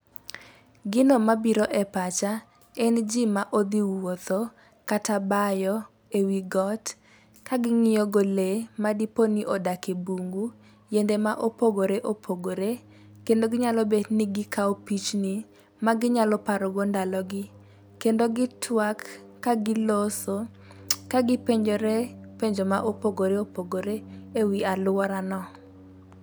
Gino mabiro e pacha gin ji ma odhi wuotho, kata bayo, e wi got ,ka ging'iyogo lee ma dipo ni odak e bungu, yiende ma opogoreopogore, kendo ginyalo bet ni gikawo pichni ma ginyalo parogo ndalogi .Kendo gitwak, ka giloso, ka gipenjore penjo ma opogoreopogore e wii aluorano.